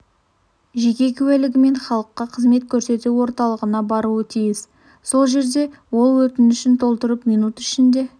жеке куәлігімен халыққа қызмет көрсету орталығына баруы тиіс сол жерде ол өтінішін толтырып минут ішінде